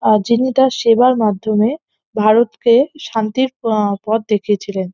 যিনি তার সেবার মাধ্যমে ভারতকে শান্তির প পথ দেখিয়েছিলেন।